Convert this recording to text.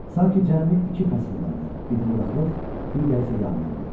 Sanki cəmi iki fəsil vardı, biri quraqlıq, digəri isə yağmurlu.